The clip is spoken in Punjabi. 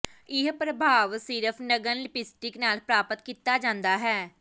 ਇਹ ਪ੍ਰਭਾਵ ਸਿਰਫ ਨਗਨ ਲਿਪਸਟਿਕ ਨਾਲ ਪ੍ਰਾਪਤ ਕੀਤਾ ਜਾਂਦਾ ਹੈ